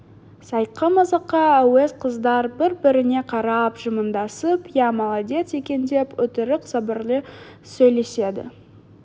сайқымазаққа әуес қыздар бір-біріне қарап жымыңдасып иә молодец екендеп өтірік сабырлы сөйлеседі